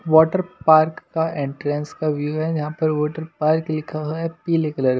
water park का entrance का view है यहां पर वाटर पार्क लिखा हुआ है पीले कलर --